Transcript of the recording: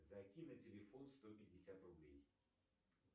закинь на телефон сто пятьдесят рублей